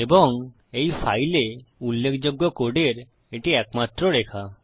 এবং এই ফাইলে উল্লেখযোগ্য কোডের এটি একমাত্র রেখা